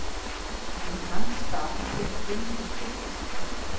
Í hans stað kemur Guðmundur Kristjánsson.